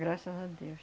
Graças a Deus.